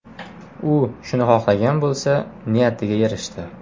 U shuni xohlagan bo‘lsa, niyatiga erishdi.